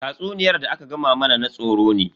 Tatsuniyar da aka gama mana na tsoro ne.